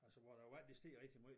Altså hvor æ vand det steg rigtig måj